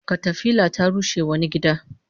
Katafila ta rushe wani gida